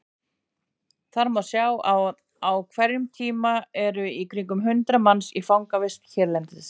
Þar má sjá að á hverjum tíma eru í kringum hundrað manns í fangavist hérlendis.